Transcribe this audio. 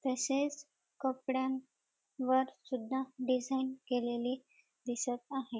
तसेच कपड्यां वर सुद्धा डिझाईन केलेली दिसत आहे.